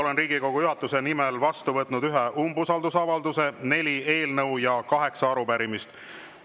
Olen Riigikogu juhatuse nimel vastu võtnud ühe umbusaldusavalduse, neli eelnõu ja kaheksa arupärimist.